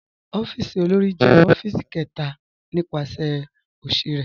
Ọ̀fíìsì òlórí jẹ̀ ọ̀fíìsì kẹta nípasẹ̀ osì rẹ.